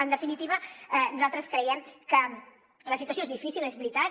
en definitiva nosaltres creiem que la situació és difícil és veritat